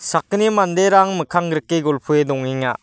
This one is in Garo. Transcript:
sakgni manderang mikkanggrike golpoe dongenga.